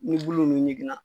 Ni bulu nunnu ɲigina.